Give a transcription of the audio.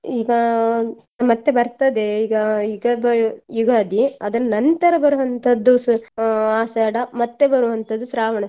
ಈಗ ಮತ್ತೆ ಬರ್ತದೆ ಈಗ ಯುಗದ ಯುಗಾದಿ ಅದರ ನಂತರ ಬರುವಂತದ್ದು ಅಹ್ ಆಷಾಢ ಮತ್ತೆ ಬರುವಂತದ್ದು ಶ್ರಾವಣ.